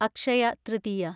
Akshaya Tritiya